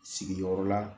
Sigiyɔrɔ la